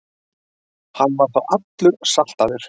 Hann var þá allur saltaður.